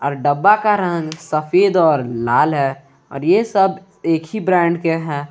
और डब्बा का रंग सफेद और लाल है और ये सब एक ही ब्रांड के हैं।